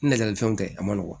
Nɛgɛli fɛnw kɛ a ma nɔgɔn